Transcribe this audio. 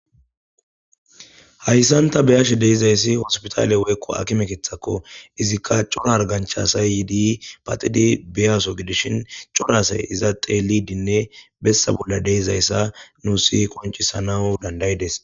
Hayssan tabe7ashe de7izayssi hosputaale woy haakime keeththakko. izikka c'ora hargganchay yiidi paxidi biyaaso gidishin cora asay xeellidinne bessa bolla de7izayssa nuussi qonc'isanaw danda7ides.